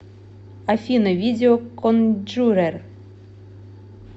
афина видео конджурер